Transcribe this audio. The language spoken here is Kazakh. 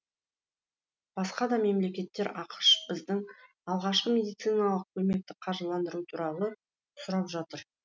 басқа да мемлекеттер ақш біздің алғашқы медициналық көмекті қаржыландыру туралы сұрап жатыр